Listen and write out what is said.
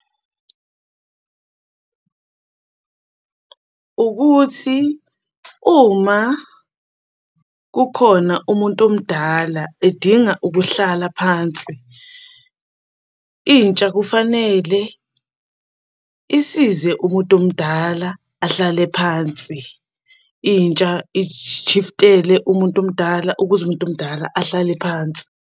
Ukuthi uma kukhona umuntu omdala edinga ukuhlala phansi, intsha kufanele isize umuntu omdala ahlale phansi. Intsha ishiftele umuntu omdala, ukuze umuntu omdala ahlale phansi.